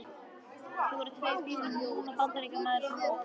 Þau voru tvö í bílnum, hún og Bandaríkjamaður sem ók.